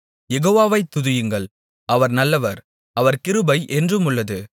யெகோவாவை துதியுங்கள் அவர் நல்லவர் அவர் கிருபை என்றுமுள்ளது